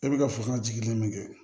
E bi ka fasɔnjigi min kɛ